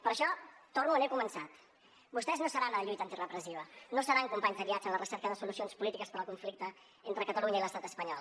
per això torno on he començat vostès no seran a la lluita antirepresiva no seran companys de viatge en la recerca de solucions polítiques per al conflicte entre catalunya i l’estat espanyol